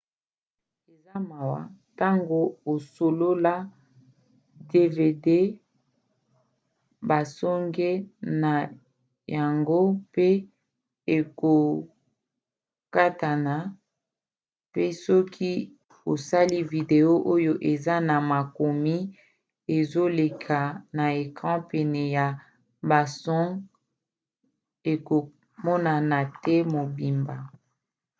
eza mawa ntango osolola dvd basonge na yango pe ekokatana pe soki osali video oyo eza na makomi ezoleka na ecran pene ya basonge ekomonana te mobimba